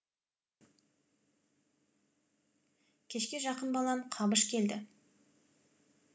кешке жақын балам қабыш келді